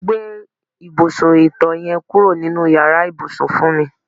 Gbé ìbùsùn ìto̩ ye̩n kúrò nínú yàrá ìbùsùn fún mi.